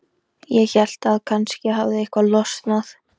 Ég hélt að kannski hefði eitthvað losnað.